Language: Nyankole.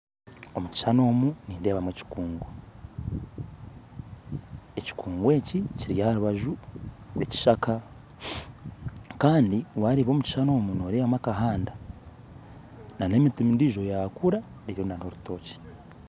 Omukishushani omu nindeebamu ekikungu, ekikungu ekiri aha rubaju rw'ekishaka Kandi wareeba omu k okishashuni omu noreebamu akahanda n'emiti endiijo eyakura eri nk'omurutookye.